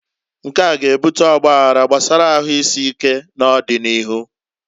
Nkea g'ebuta ọgbaghara gbasara ahuisike n'ọdi n'iru.